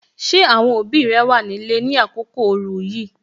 Ṣé àwọn òbí rẹ wà ní ilé ni àkókò ooru yìí?